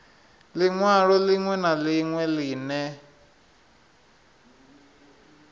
linwalo linwe na linwe line